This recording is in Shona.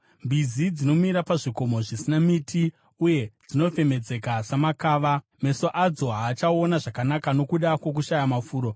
Mbizi dzinomira pazvikomo zvisina miti, uye dzinofemedzeka semakava; meso adzo haachaona zvakanaka nokuda kwokushaya mafuro.”